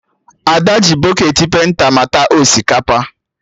Ada ji bọketị penta mata osikapa